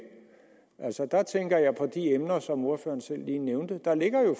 der tænker jeg på de emner som ordføreren lige selv nævnte der ligger jo